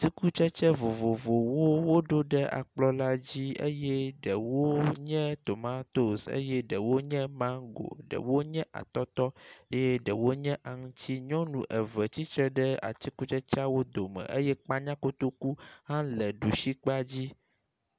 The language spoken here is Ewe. Atikutsetse vovovowo woɖo ɖe ekplɔ la dzi eye ɖewo nye tomatos eye ɖewo nye mango, ɖewo nye atɔtɔ eye ɖewo nye aŋuti, nyɔnu eve tsitre atikutsetseawo dome eye kpanya kotoku hã le ɖusi kpa dzi.